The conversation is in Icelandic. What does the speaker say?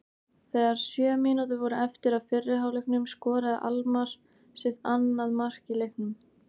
Þegar sjö mínútur voru eftir af fyrri hálfleiknum skoraði Almarr sitt annað mark í leiknum.